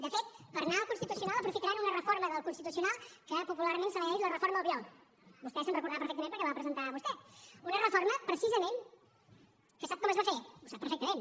de fet per anar al constitucional aprofitaran una reforma del constitucional que popularment se li ha dit la reforma albiol vostè se’n deu recordar perfectament perquè la va presentar vostè una reforma precisament que sap com es va fer ho sap perfectament